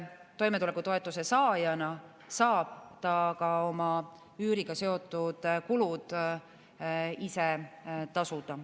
Toimetulekutoetuse saajana saab ta ka oma üüriga seotud kulud ise tasuda.